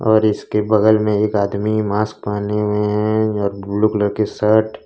और इसके बगल में एक आदमी मास्क पहने हुए है और ब्लू कलर के शर्ट।